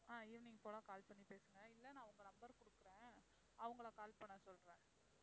ஆஹ் evening போல call பண்ணி பேசுங்க இல்ல நான் உங்க number கொடுக்கிறேன். அவங்களை call பண்ண சொல்றேன்.